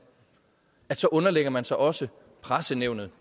underlægger man sig også pressenævnet